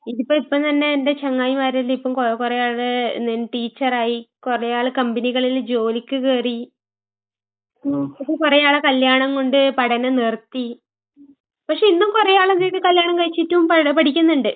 ഇതിപ്പെ ഇപ്പം തന്നെ എന്റെ ചങ്ങായിമാരെല്ലാം ഇപ്പം കൊ കൊറേ ആള് എന്തേനൂ ടീച്ചറായി, കൊറേയാള് കമ്പനികളില് ജോലിക്ക് കേറി. പക്ഷെ കൊറേ ആളെ കല്യാണം കൊണ്ട് പഠനം നിർത്തി. പക്ഷെ ഇന്നും കൊറേയാളെന്തെയ്ത് കല്യാണം കഴിച്ചിട്ടും പട പഠിക്ക്ന്നിണ്ട്.